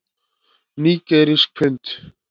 Nígerískt pund.